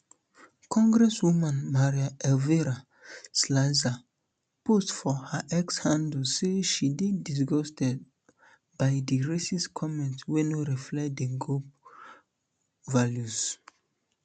congresswoman um maria elvira salazar post for her x handle say she dey disgusted by di racist comment um wey no reflect di gop values